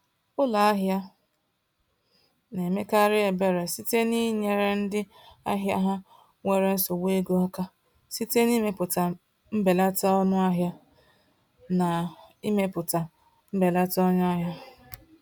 Ụlọ ahịa na-emekarị ebere site n’inyere ndị ahịa ha nwere nsogbu ego aka site n’imepụta mbelata ọnụahịa. n’imepụta mbelata ọnụahịa.